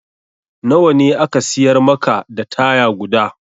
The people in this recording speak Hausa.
Na wa ne aka siyar maka da taya guda?